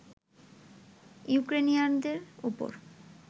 ইউক্রেনিয়ানদের উপর